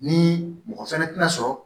Ni mɔgɔ fɛnɛ tɛna sɔrɔ